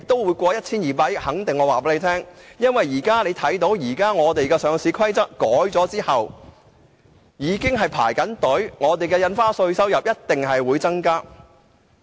我可以肯定地告訴他，因為我留意到《上市規則》修訂後，很多公司已在輪候，有關稅收一定會有所增加。